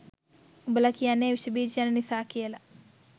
උඹල කියන්නෙ විෂබීජ යන නිසා කියල